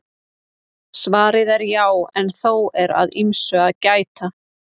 Svarið er já en þó er að ýmsu að gæta.